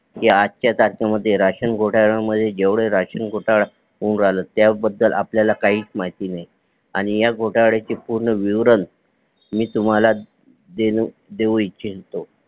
आजचा तारखे मध्ये राशन घोटाळे मध्ये जेवढे राशन घोटाळ होऊ राहिले त्या बद्दल आपल्याला काहीच माहिती नाही आणि ह्या घोटाळ्याचे वर्णन मी तुम्हाला देऊ इच्छितो